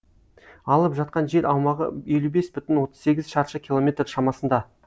алып жатқан жер аумағы елу бес бүтін отыз сегіз шаршы километр шамасында